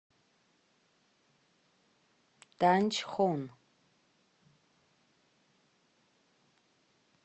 танчхон